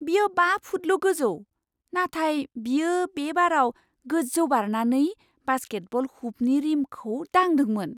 बियो बा फुटल' गोजौ, नाथाय बियो बे बाराव गोजौ बारनानै बास्केटबल हुपनि रिमखौ दांदोंमोन।